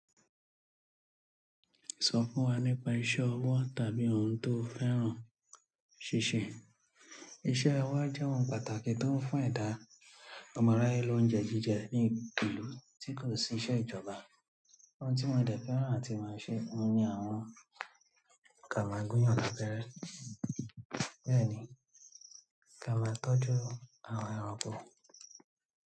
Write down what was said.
Sọ fún wa nípa iṣẹ́ ọwọ́ tàbí ohun tó fẹ́ràn ṣíṣe. Iṣẹ́ ọwọ́ jẹ́ ohun pàtàkì tó ń fún ẹ̀dá ọmọ aráyé lóúnjẹ jíjẹ ní ìlú tí kò sí iṣẹ́ ìjọba. Ohun tí mo dẹ̀ fẹ́ràn àti máa ṣe òun ni àwọn kà máa gúnyàn labẹ́rẹ́. Bẹ́ẹ̀ ni, kà máa tọ́jú àwọn ẹranko.